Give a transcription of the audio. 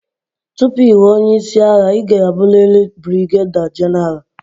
Tupu ị ghọọ onye isi agha, ị ga-abụrịrị brigeda genaral.